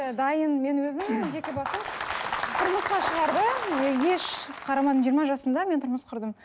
дайын мен өзім жеке басым еш қарамадым жиырма жасымда мен тұрмыс құрдым